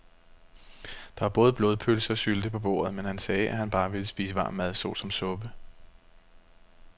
Der var både blodpølse og sylte på bordet, men han sagde, at han bare ville spise varm mad såsom suppe.